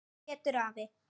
Pétur afi.